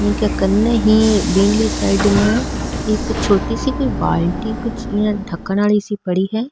इक कने ही बिनि साइड में एक छोटी सी बाल्टी कुछ ढकन आली सी पड़ी है।